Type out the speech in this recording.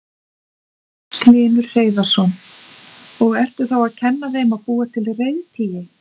Magnús Hlynur Hreiðarsson: Og ertu þá að kenna þeim að búa til reiðtygi?